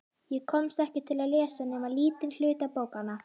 Ég komst ekki til að lesa nema lítinn hluta bókanna.